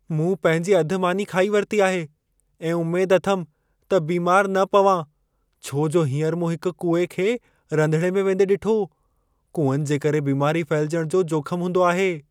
मूं पंहिंजी अधु मानी खाई वरिती आहे ऐं उमेद अथमि त बीमारु न पवां, छो जो हींअर मूं हिक कूए खे रंधिणे में वेंदे ॾिठो। कूअनि जे करे बीमारी फहिलजण जो जोख्म हूंदो आहे।